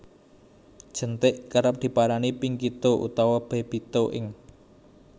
Jenthik Kerep diarani Pinky toe utawa Baby toe ing